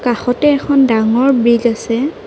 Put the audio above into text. কাষতে এখন ডাঙৰ ব্ৰিজ আছে।